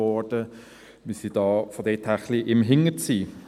daher sind wir hintendrein.